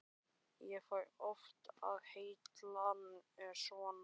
Ég fæ oft á heilann svona.